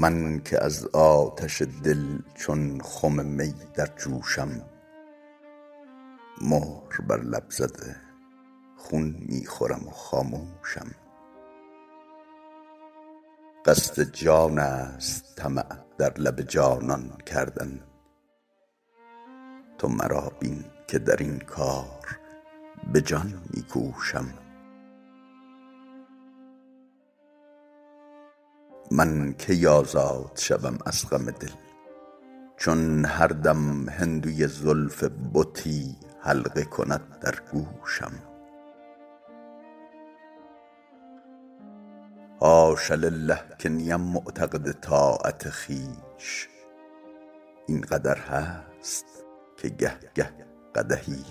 من که از آتش دل چون خم می در جوشم مهر بر لب زده خون می خورم و خاموشم قصد جان است طمع در لب جانان کردن تو مرا بین که در این کار به جان می کوشم من کی آزاد شوم از غم دل چون هر دم هندوی زلف بتی حلقه کند در گوشم حاش لله که نیم معتقد طاعت خویش این قدر هست که گه گه قدحی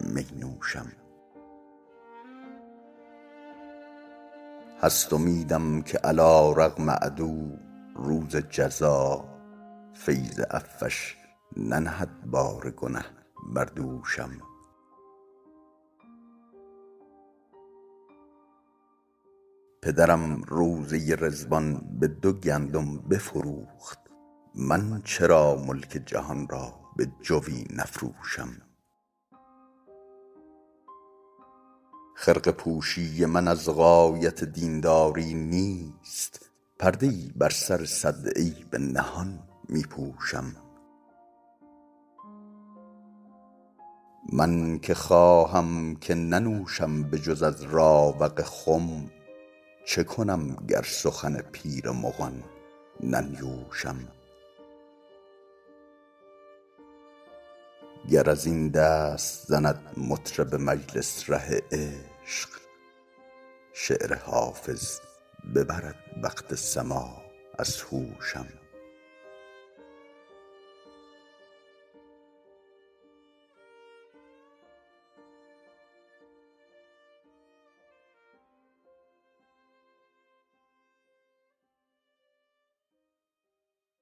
می نوشم هست امیدم که علیرغم عدو روز جزا فیض عفوش ننهد بار گنه بر دوشم پدرم روضه رضوان به دو گندم بفروخت من چرا ملک جهان را به جوی نفروشم خرقه پوشی من از غایت دین داری نیست پرده ای بر سر صد عیب نهان می پوشم من که خواهم که ننوشم به جز از راوق خم چه کنم گر سخن پیر مغان ننیوشم گر از این دست زند مطرب مجلس ره عشق شعر حافظ ببرد وقت سماع از هوشم